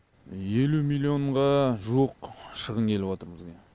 елу миллионға жуық шығын келіп отыр бізге